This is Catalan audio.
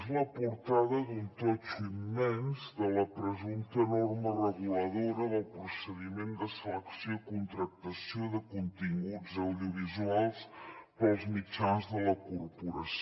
és la portada d’un totxo immens de la presumpta norma reguladora del procediment de selecció i contractació de continguts audiovisuals per als mitjans de la corporació